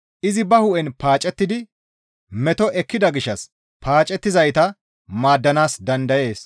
Izi ba hu7en paacettidi meto ekkida gishshas paacettizayta maaddanaas dandayees.